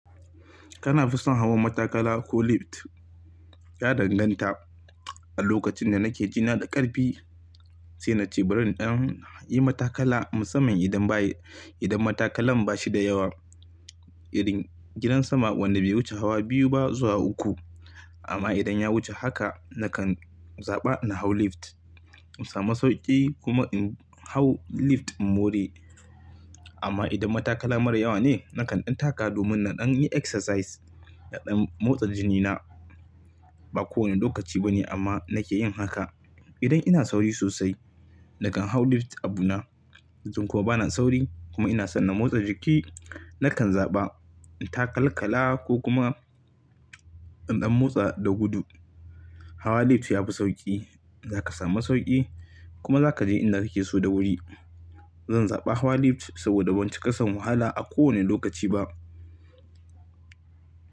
Kana fison hawan matakala ko lift? Ya danganta. A lokacin da nake jina da ƙarfi, sai na ce bari in ɗan yi matakala musamman idan bayi, idan matakalan bashi da yawa. Irin gidan sama wanda bai wuce hawa biyu ba zuwa uku. Amma idan ya wuce haka, nakan zaɓa ina hau lift. In samu sauƙi kuma in hau lift in more. Amma idan matakala mara yawa ne, nakan ɗan taka domin na ɗan yi exercise, na ɗan motsa jinina. Ba kowane lokaci bane amma nake yin haka. Idan ina sauri sosai, nakan hau lift a buna. Idan kuma bana sauri kuma ina son na motsa jiki, nakan zaɓa in takal kala ko kuma in ɗan motsa da gudu. Hawa lift yafi sauƙi, zaka samu sauƙi kuma zaka je inda kake so da wuri. Zan zaɓa hawa lift saboda ban ci ƙasan wahala a kowane lokaci ba.